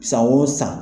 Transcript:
San o san